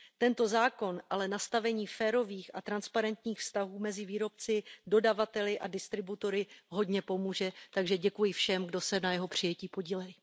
Tento zákon ale k nastavení férových a transparentních vztahů mezi výrobci, dodavateli a distributory hodně pomůže, takže děkuji všem, kdo se na jeho přijetí podíleli.